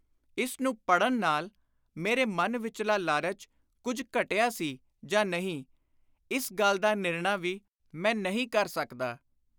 ਇਸ ਨੂੰ ਪੜ੍ਹਨ ਨਾਲ ਮੇਰੇ ਮਨ ਵਿਚਲਾ ਲਾਲਚ ਕੁਝ ਘਟਿਆ ਸੀ ਜਾਂ ਨਹੀਂ, ਇਸ ਗੱਲ ਦਾ ਨਿਰਣਾ ਵੀ ਮੈਂ ਨਹੀਂ ਕਰ ਸਕਦਾ।